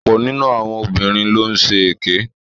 Ọ̀pọ̀ nínu àwọn obìnrin ló ń ṣe èké.